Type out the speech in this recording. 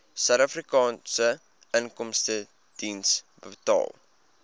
suidafrikaanse inkomstediens betaal